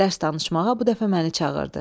Dərs danışmağa bu dəfə məni çağırdı.